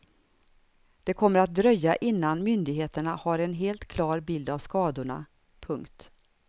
Det kommer att dröja innan myndigheterna har en helt klar bild av skadorna. punkt